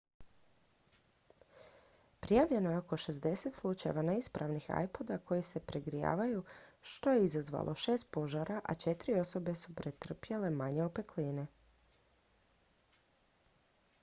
prijavljeno je oko 60 slučajeva neispravnih ipoda koji se pregrijavaju što je izazvalo šest požara a četiri su osobe pretrpjele manje opekline